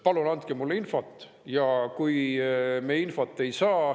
Palun andke mulle infot!